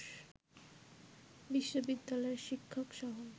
বিশ্ববিদ্যালয়ের শিক্ষকসহ